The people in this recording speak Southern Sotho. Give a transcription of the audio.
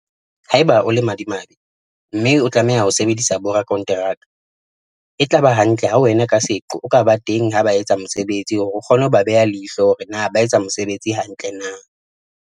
Haeba o le madimabe, mme o tlameha ho sebedisa borakonteraka - e tla ba hantle ha wena ka seqo o ka ba teng ha ba etsa mosebetsi hore o kgone ho ba beha leihlo hore na ba etsa mosebetsi hantle na.